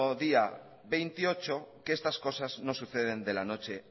día veintiocho que estas cosas no suceden de la noche